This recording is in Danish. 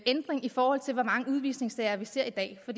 ændring i forhold til hvor mange udvisningssager vi ser i dag for